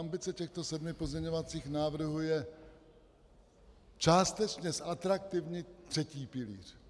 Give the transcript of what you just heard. Ambice těchto sedmi pozměňovacích návrhů je částečně zatraktivnit třetí pilíř.